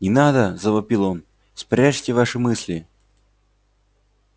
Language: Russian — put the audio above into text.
не надо завопил он спрячьте ваши мысли